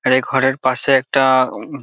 এই ঘরের পাশে একটা-আ উম--